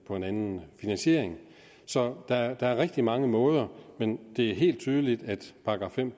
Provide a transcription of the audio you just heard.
på en anden finansiering så der er rigtig mange måder men det er helt tydeligt at § fem